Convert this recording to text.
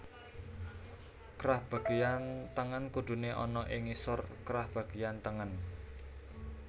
Krah bagéyan tengen kuduné ana ing ngisor krah bagéyan tengen